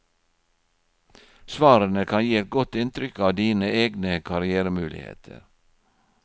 Svarene kan gi et godt inntrykk av dine egne karrièremuligheter.